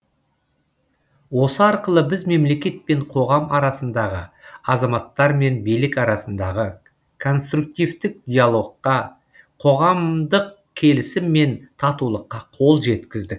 осы арқылы біз мемлекет пен қоғам арасындағы азаматтар мен билік арасындағы конструктивтік диалогқа қоғамдық келісім мен татулыққа қол жеткіздік